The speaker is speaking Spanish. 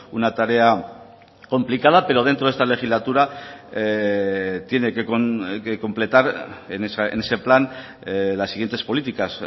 una tarea complicada pero dentro de esta legislatura tiene que completar en ese plan las siguientes políticas